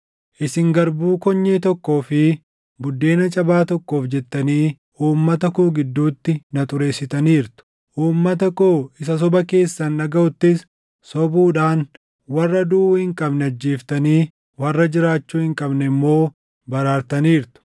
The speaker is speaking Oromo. Isin garbuu konyee tokkoo fi buddeena cabaa tokkoof jettanii uummata koo gidduutti na xureessitaniirtu. Uummata koo isa soba keessan dhagaʼuttis sobuudhaan warra duʼuu hin qabne ajjeeftanii warra jiraachuu hin qabne immoo baraartaniirtu.